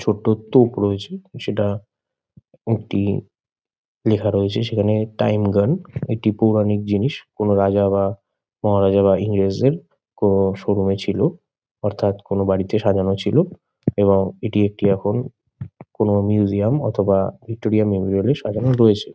ছোট্ট তোপ রয়েছে সেটা একটি লেখা রয়েছে সেখানে টাইম গান একটি পৌরাণিক জিনিস। কোনো রাজা বা মহারাজা বা ইংরেজদের কোনো শোরুমে -এ ছিল অর্থাৎ কোনো বাড়িতে সাজানো ছিল এবং এটি একটি এখন কোনো মিউজিয়াম অথবা ভিক্টোরিয়া মেমোরিয়াল -এ সাজানো রয়েছে।